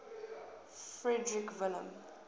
frederick william